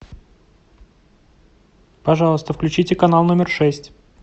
пожалуйста включите канал номер шесть